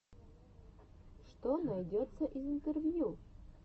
что найдется из интервью